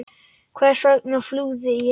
Hvers vegna flúði ég?